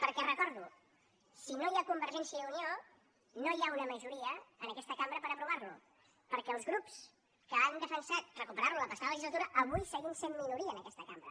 perquè ho recordo si no hi ha convergència i unió no hi ha una majoria en aquesta cambra per aprovar lo perquè els grups que han defensat recuperar lo la passada legislatura avui seguim sent minoria en aquesta cambra